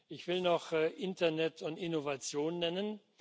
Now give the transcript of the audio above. Ich will noch Internet und Innovation nennen.